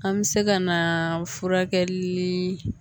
An me se ka na furakɛli